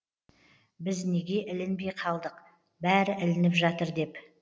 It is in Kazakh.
біз неге ілінбей қалдық бәрі ілініп жатыр деп